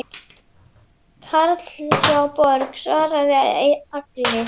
Karl hjá Borg svaraði Agli.